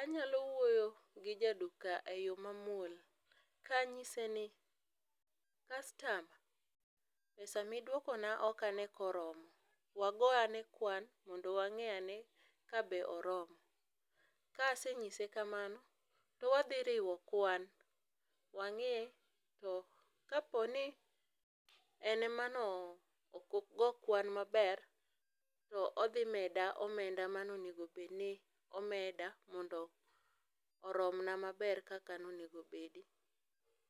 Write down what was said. anyalo wuoyo gi jaduka e yo mamuol kanyise ni, "kastama pesa miduokona ok ane koromo". Wago ane kwan, mondo wang'e ane kabe oromo. Ka aseng'ise kamano, to wadhi riwo kwan, wang'i, to kaponi en ema ne ok ogo kwan maber, to odhi meda omenda manonego bed ni omeda mondo oromna maber kaka nonego bedi.